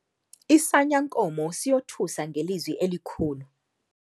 Isanyankomo siyothusa ngelizwi elikhulu